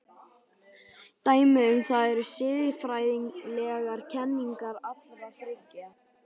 Dæmi um það eru siðfræðilegar kenningar allra þriggja.